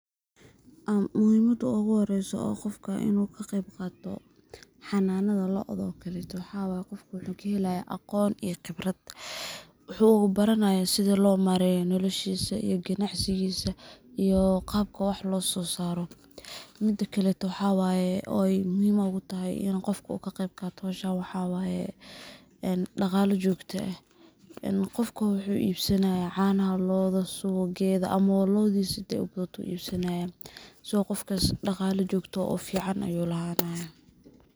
Amm muxiimada uguxoreyso o gofka inu kaqebqato, xananadha looadhka okaleto waxa waye gofka wuxukaxeya aqoon iyo qibrat, wuubaranaya sidha lomareyo nolashisa iyo qanacsigisa, iyo qabka wax lososaro, midakaleto waxaa waye, oo muxiim ogutaxay inu gofka kagebqato xowshaan waxaa waye in daqalaa jogta ah, en gofka wuxu ibsanaya canaxa loodha suwaqedha ama loodhisa xadhay ubadhato ayu ibsanayaa so gofkas daqalaa jogtaxaah o fican ayu laxanayaa.